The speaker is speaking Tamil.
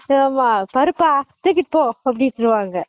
ஆமா பருப்பா தூக்கிட்டு போ அப்படினு பாங்க